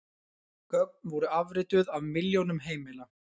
Gögn voru afrituð af milljónum heimila